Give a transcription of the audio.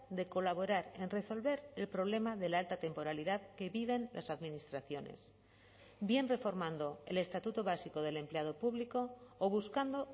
de colaborar en resolver el problema de la alta temporalidad que viven las administraciones bien reformando el estatuto básico del empleado público o buscando